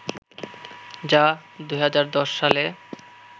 যা ২০১০ সালে